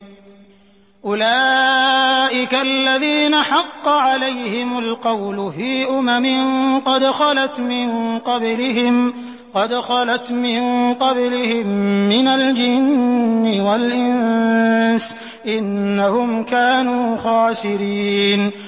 أُولَٰئِكَ الَّذِينَ حَقَّ عَلَيْهِمُ الْقَوْلُ فِي أُمَمٍ قَدْ خَلَتْ مِن قَبْلِهِم مِّنَ الْجِنِّ وَالْإِنسِ ۖ إِنَّهُمْ كَانُوا خَاسِرِينَ